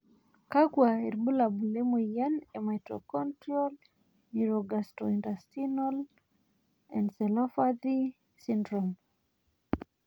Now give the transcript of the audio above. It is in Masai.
kakua irbulabol le moyian e Mitochondrial neurogastrointestinal encephalopathy syndrome?